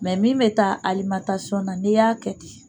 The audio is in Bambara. min mɛ taa na n'e y'a kɛ ten